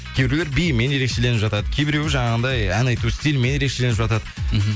кейбіреулер биімен ерекшелініп жатады кейбіруі жаңағындай ән айту стилімен ерекшелініп жатады мхм